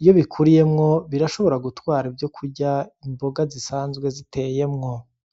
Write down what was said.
iyo bikuriyemwo birashobora gutwara ivyokurya imboga zisanzwe ziteyemwo.